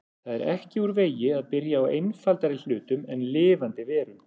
Það er ekki úr vegi að byrja á einfaldari hlutum en lifandi verum.